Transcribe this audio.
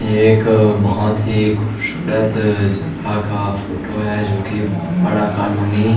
एक बहुत ही खूबसूरत जगह का फोटो है जो कि बहुत बड़ा कॉलोनी --